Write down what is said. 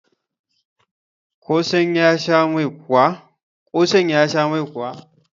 kosan ya Sha Mai kuwa?